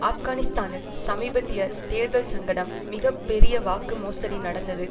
ஆப்கானிஸ்தானில் சமீபத்திய தேர்தல் சங்கடம் மிக பெரிய வாக்கு மோசடி நடந்தது